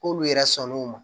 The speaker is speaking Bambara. K'olu yɛrɛ sɔnn'o ma